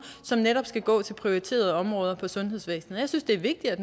som netop skal gå til prioriterede områder i sundhedsvæsenet jeg synes det er vigtigt at